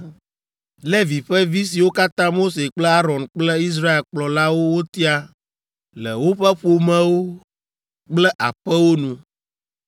Levi ƒe vi siwo katã Mose kple Aron kple Israel kplɔlawo wotia le woƒe ƒomewo kple aƒewo nu,